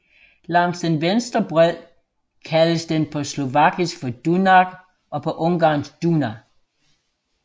Langs den venstre bred kaldes den på slovakisk for Dunaj og på ungarsk Duna